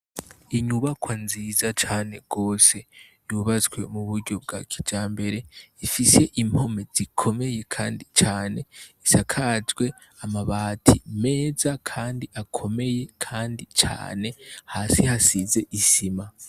Inyubakwa nziza cane gose yubatse mu buryo bwa kijambere, ifise impome zikomeye kandi cane, isakajwe amabati meza kandi akomeye kandi cane, hasi hasize isima.